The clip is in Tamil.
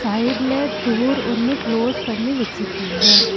சைடுல டோர் ஒன்னு க்ளோஸ் பண்ணி வெச்சுருக்காங்க.